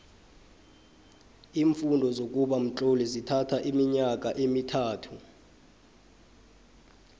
iimfundo zokuba mtloli zithatho iminyaka emithathu